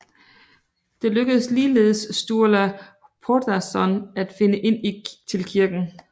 Det lykkedes ligeledes Sturla Þórðarsson at finde ind til kirken